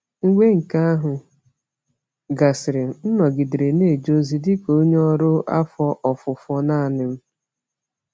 Mgbe nke ahụ gasịrị, m nọgidere na-eje ozi dị ka onye ọrụ afọ ofufo naanị m.